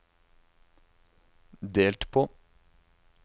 delt på